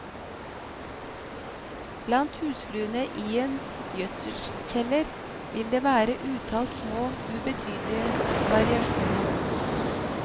Blant husfluene i en gjødselkjeller vil det være et utall små, ubetydelige variasjoner.